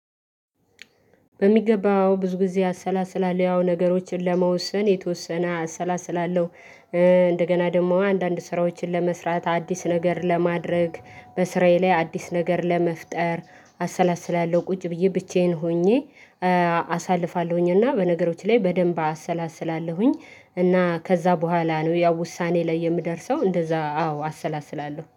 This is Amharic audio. በሚገባው ብዙ ጊዜ አሰላስላለሁ ያው ነገሮችን ለመወሰን የተወሰነ አሰላስላለሁ። እንደገና ደግሞ አንዳንድ ስራዎችን ለመስራት አዲስ ነገር ለማድረግ በስራዬ ላይ አዲስ ነገር ለመፍጠር አሰላስላለሁ ቁጭ ብዬ ብቻዬን ሆኜ። አሳልፋለሁኝ እና በነገሮች ላይ በደንብ አሰላስላለሁኝ እና ከዛ በኋላ ነው ያው ውሳኔ ላይ የምደርሰው። እንደዛ አዎ አሰላስላለሁ